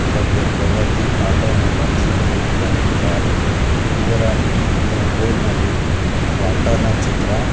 ಇದಕ್ಕೆ ಪ್ರಗತಿ ಆಟೋಮೊಬೈಲ್ಸ್ ಎಂದು ಬರೆದಿದ್ದಾರೆ ಇದರ ಮುಂದ ಇದರ ಬೋರ್ಡ್ ನಲ್ಲಿ ಟ್ರ್ಯಾಕ್ಟರ್ ನ ಚಿತ್ರ.